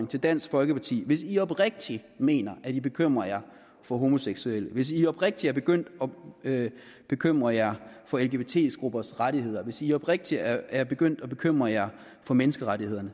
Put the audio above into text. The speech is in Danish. til dansk folkeparti hvis i oprigtigt mener at i bekymrer jer for homoseksuelle hvis i oprigtigt er begyndt at bekymre jer for lgbt gruppers rettigheder hvis i oprigtigt er begyndt at bekymre jer for menneskerettighederne